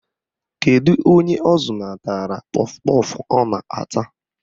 Kedu onye ọ zụnatara kpọf kpọf ọ na-ata?